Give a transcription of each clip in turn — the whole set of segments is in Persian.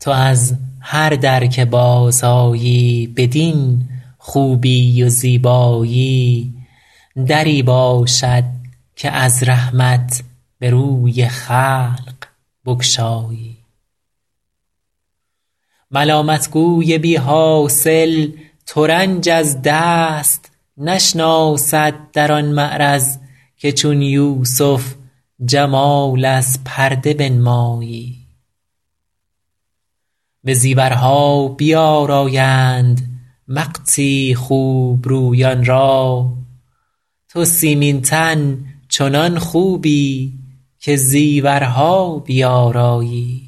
تو از هر در که بازآیی بدین خوبی و زیبایی دری باشد که از رحمت به روی خلق بگشایی ملامت گوی بی حاصل ترنج از دست نشناسد در آن معرض که چون یوسف جمال از پرده بنمایی به زیورها بیآرایند وقتی خوب رویان را تو سیمین تن چنان خوبی که زیورها بیآرایی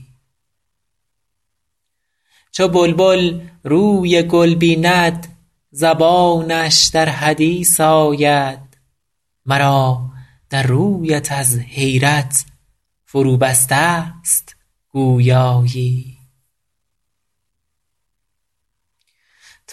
چو بلبل روی گل بیند زبانش در حدیث آید مرا در رویت از حیرت فروبسته ست گویایی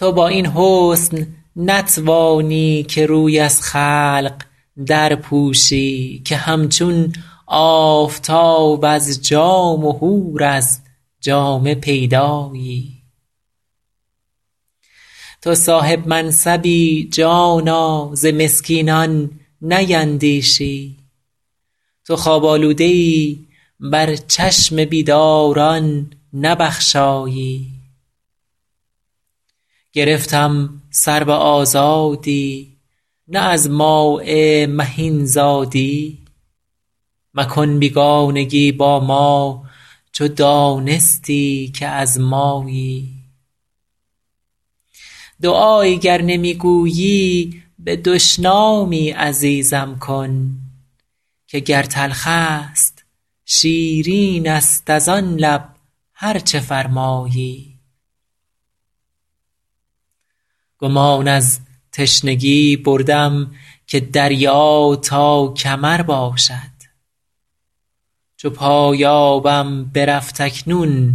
تو با این حسن نتوانی که روی از خلق درپوشی که همچون آفتاب از جام و حور از جامه پیدایی تو صاحب منصبی جانا ز مسکینان نیندیشی تو خواب آلوده ای بر چشم بیداران نبخشایی گرفتم سرو آزادی نه از ماء مهین زادی مکن بیگانگی با ما چو دانستی که از مایی دعایی گر نمی گویی به دشنامی عزیزم کن که گر تلخ است شیرین است از آن لب هر چه فرمایی گمان از تشنگی بردم که دریا تا کمر باشد چو پایانم برفت اکنون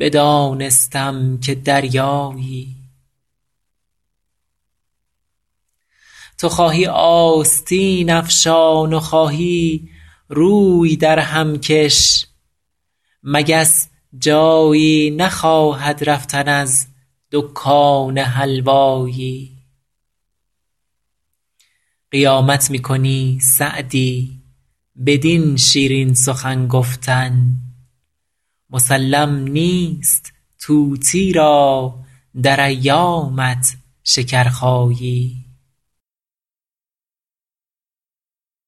بدانستم که دریایی تو خواهی آستین افشان و خواهی روی درهم کش مگس جایی نخواهد رفتن از دکان حلوایی قیامت می کنی سعدی بدین شیرین سخن گفتن مسلم نیست طوطی را در ایامت شکرخایی